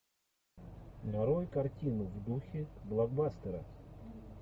нарой картину в духе блокбастера